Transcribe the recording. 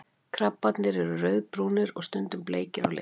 krabbarnir eru rauðbrúnir og stundum bleikir á lit